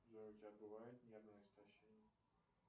джой у тебя бывает нервное истощение